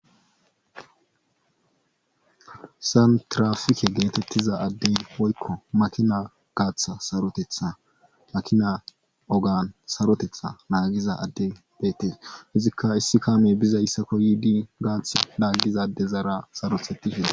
Hayssan tiraafike geetettiza addey woykko makina gaatha sarotetha makina agan sarotetha naagiza addey beetes izikka issi kaame bizayssako yiidi gaathi laaggiza addezara sarothettishe dees.